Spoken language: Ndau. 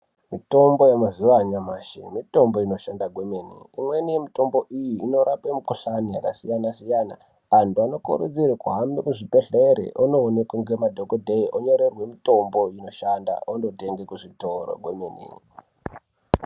Mitombo yemazuva anyamashi mitombo inoshanda kwemene imweni yemitombo iyi inorapa mikuhlani yakasiyana-siyana antu anokurudzirwa kuhambe kuzvibhedhlera ondoonekwa nemadhokodheya onyorerwa mitombo inoshanda ondoshanda kwemene.